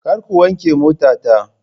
Kar ku wanke motata.